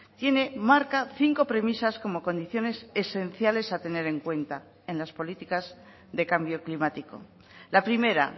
tiene marca cinco premisas como condiciones esenciales a tener en cuenta en las políticas de cambio climático la primera